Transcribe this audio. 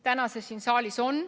Täna on see siin saalis.